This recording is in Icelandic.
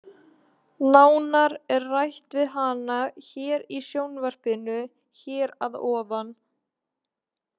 Nánar er rætt við hana hér í sjónvarpinu hér að ofan.